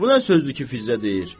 Bu nə sözdür ki, Fizzə deyir?